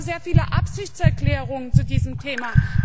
Wir haben sehr viele Absichtserklärungen zu diesem Thema.